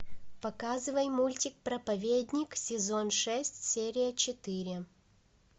показывай мультик проповедник сезон шесть серия четыре